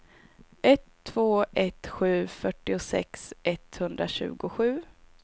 ett två ett sju fyrtiosex etthundratjugosju